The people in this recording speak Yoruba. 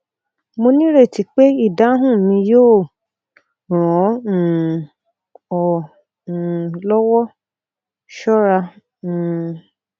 mo nireti pe idahun mi yoo ran ọ um ọ um lọwọ ṣọra um